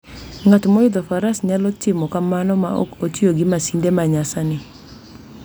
Ng'at moidho faras nyalo timo kamano ma ok otiyo gi masinde ma nyasani.